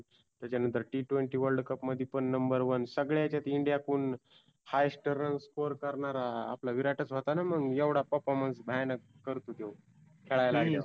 त्याच्यानंतर T twenty world cup मध्ये पण number one सगळ्या याच्यात India कडुन highest run score करणारा आपला विराटच होताना मग. एवढा performance भयानक करतो त्यो. खेळाया लागल्यावर.